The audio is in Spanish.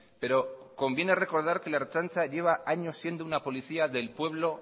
pero conviene recordar que la ertzaintza lleva siendo una policía del pueblo